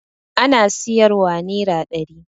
Ana siyarwa nera ɗari